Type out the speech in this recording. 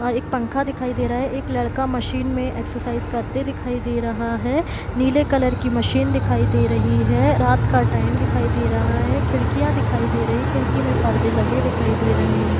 वहा एक पंखा दिखाई दे रहा है एक लड़का मशीन में एक्सरसाइज करते दिखाई दे रहा है नीले कलर की मशीन दिखाई दे रही है रात का टाइम दिखाई दे रहा है खिड़कियां दिखाई दे रही खिड़की में पर्दे लगे दिखाई दे रहे हैं।